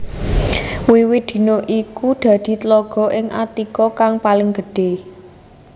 Wiwit dina iku dadi tlaga ing Attika kang paling gedhé